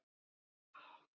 svaraði Ari og glotti.